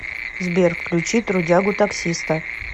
сбер включи трудягу таксиста